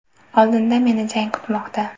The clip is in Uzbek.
Oldinda meni jang kutmoqda.